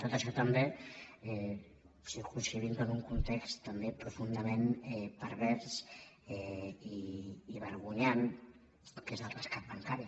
tot això també circumscrivint·ho en un context també profundament pervers i vergonyant que és el rescat bancari